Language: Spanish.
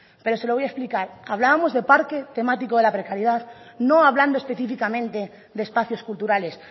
pero se lo voy a explicar hablábamos de parque temático de la precariedad no hablando específicamente de espacios culturales